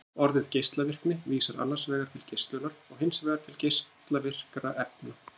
Orðið geislavirkni vísar annars vegar til geislunar og hins vegar til geislavirkra efna.